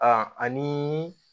ani